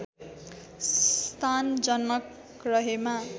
स्थान जनक रहेमा